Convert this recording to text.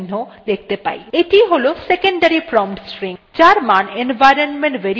এটিby হল secondary prompt string যার মান environment variable ps2ত়ে থাকে